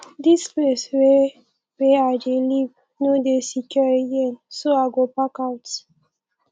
dis place wey wey i dey live no dey secure again so i go park out